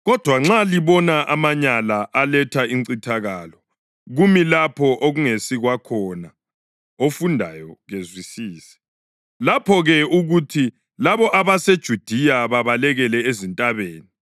Kodwa nxa libona ‘amanyala aletha incithakalo’ + 13.14 UDanyeli 9.27; 11.31; 12.11 kumi lapho okungesikwakhona, ofundayo kezwisise, lapho-ke akuthi labo abaseJudiya babalekele ezintabeni.